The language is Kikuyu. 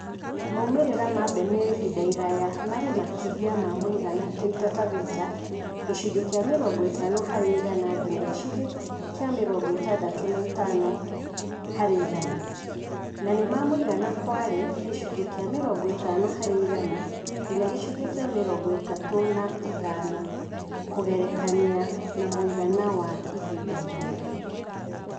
Maumĩrĩra ma mbeme ya ihinda iraya marĩ makĩria ma mũigana Taita Taveta (gĩcunjĩ kia mĩrongo ĩtano harĩ igana nginya gicunjĩ kĩa mĩrongo ĩtandatũ na ĩtano harĩ igana), nĩ ma mũigana Kwale (gĩcunjĩ kia mĩrongo ĩtano harĩ igana nginya gĩcunjĩ kĩa mĩrongo ĩtatũ na ithano) kũgerekania na mũigana wa ihinda iraya.